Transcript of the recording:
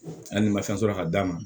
Hali ni ma fɛn sɔrɔ ka d'a ma